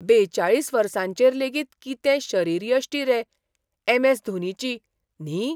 बेचाळीस वर्सांचेर लेगीत कितें शरीरयश्टी रे ऍम. ऍस. धोनीची, न्ही?